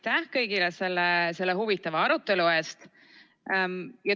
Ja aitäh kõigile selle huvitava arutelu eest!